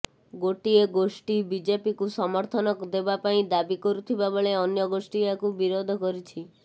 ଗୋଟିଏ ଗୋଷ୍ଠୀ ବିଜେପିକୁ ସମର୍ଥନ ଦେବା ପାଇଁ ଦାବି କରୁଥିବା ବେଳେ ଅନ୍ୟ ଗୋଷ୍ଠୀ ଏହାକୁ ବିରୋଧ କରିଛି